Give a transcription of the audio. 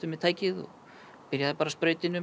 með tækið og byrjaði bara að sprauta inn um